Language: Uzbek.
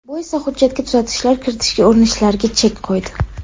Bu esa hujjatga tuzatishlar kiritishga urinishlarga chek qo‘ydi.